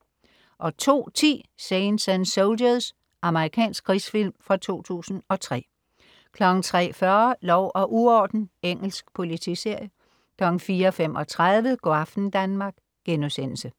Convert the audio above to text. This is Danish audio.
02.10 Saints and Soldiers. Amerikansk krigsfilm fra 2003 03.40 Lov og uorden. Engelsk politiserie 04.35 Go' aften Danmark*